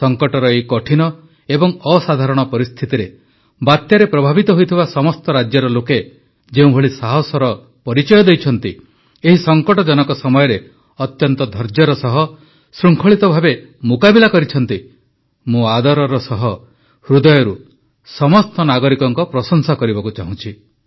ସଙ୍କଟର ଏହି କଠିନ ଏବଂ ଅସାଧାରଣ ପରିସ୍ଥିତିରେ ବାତ୍ୟାରେ ପ୍ରଭାବିତ ହୋଇଥିବା ସମସ୍ତ ରାଜ୍ୟର ଲୋକେ ଯେଉଁଭଳି ସାହସର ପରିଚୟ ଦେଇଛନ୍ତି ଏହି ସଙ୍କଟଜନକ ସମୟରେ ଅତ୍ୟନ୍ତ ଧୈର୍ଯ୍ୟ ସହ ଶୃଙ୍ଖଳିତ ଭାବେ ମୁକାବିଲା କରିଛନ୍ତି ମୁଁ ଆଦରର ସହ ହୃଦୟରୁ ସମସ୍ତ ନାଗରିକଙ୍କ ପ୍ରଶଂସା କରିବାକୁ ଚାହୁଁଛି